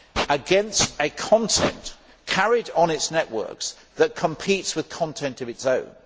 against a content carried on its networks that competes with content of its own.